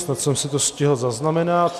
Snad jsem si to stihl zaznamenat.